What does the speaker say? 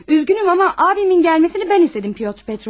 Üzgünüm amma abimin gəlməsini mən istədim Petr Petroviç.